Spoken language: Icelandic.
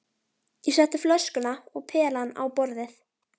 Ég setti flöskuna og pelann á borðið.